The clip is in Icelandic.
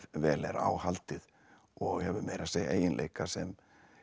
vel er á haldið og hefur meira að segja eiginleika sem